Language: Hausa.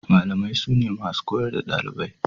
Malamai sune masu koyar da ɗalibai.